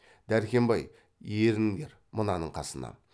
дәркембай еріңдер мынаның қасына